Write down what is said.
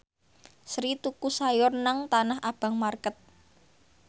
Sri tuku sayur nang Tanah Abang market